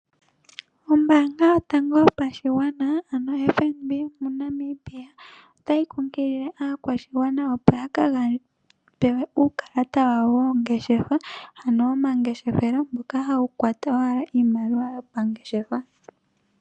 Ombaanga yotango yopashigwana ano oFNB yomoNamibia, otayi kunkilile aakwashigwana opo ya kapewe uukalata wawo woongeshefa ano omangeshefelo mboka hawu kwata owala iimaliwa yomangeshefelo.